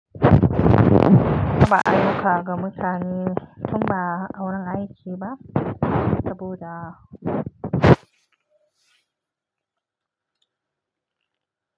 Ko ba ayyuka ga mutane, tun ba auren aiki ba, saboda.